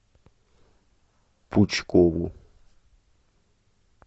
пучкову